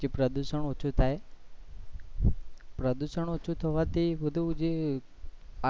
કે પ્રદુશન ઓછું થાય પ્રદુશન ઓછું થવા થી બધું જે